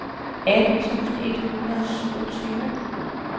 atten tusind et hundrede og syvogtyve